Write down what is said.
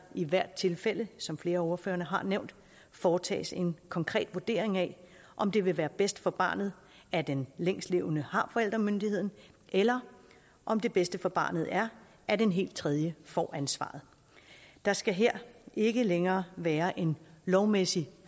i hvert tilfælde som flere af ordførerne har nævnt foretages en konkret vurdering af om det vil være bedst for barnet at den længstlevende har forældremyndigheden eller om det bedste for barnet er at en helt tredje får ansvaret der skal her ikke længere være en lovmæssig